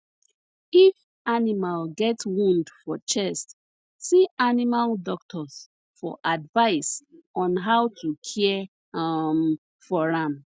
if animal get wound for chest see animal doctors for advice on how to care um for am